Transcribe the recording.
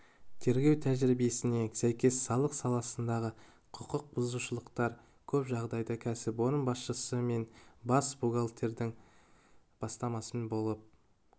тергеу тәжірибесіне сәйкес салық саласындағы құқық бұзушылықтар көп жағдайда кәсіпорын басшысы мен бас буігалтердің бастамасымен болып